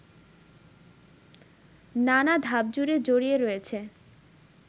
নানা ধাপজুড়ে জড়িয়ে রয়েছে